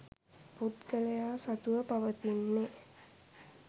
පුද්ගලයා සතුව පවතින්නේ